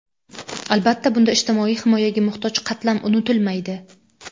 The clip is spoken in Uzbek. Albatta, bunda ijtimoiy himoyaga muhtoj qatlam unutilmaydi.